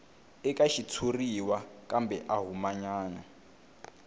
eka xitshuriwa kambe a humanyana